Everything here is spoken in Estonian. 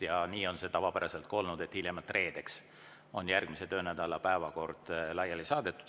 Ja nii on see tavapäraselt ka olnud, et hiljemalt reedeks on järgmise töönädala päevakord laiali saadetud.